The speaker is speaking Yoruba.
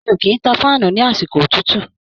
Mi ò kì ń tan fáànù ní àsìkò òtútù.